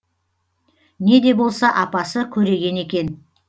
не де болса апасы көреген екен